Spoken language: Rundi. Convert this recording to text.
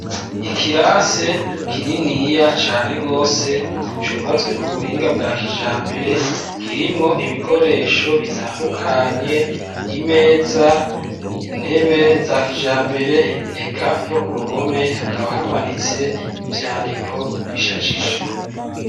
ikirase kininiya cane gose cubatswe ku buhinga bwa kijambere kirimwo ibikoresho bitandukanye imeza intebe za kijambere eka no ku ruhome hakaba hamanitse ivyandiko bishajije